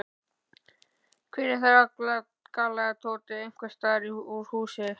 Hver er þar? galaði Tóti einhvers staðar úr húsinu.